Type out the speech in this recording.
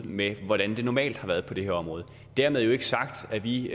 med hvordan det normalt har været på det her område dermed ikke sagt at vi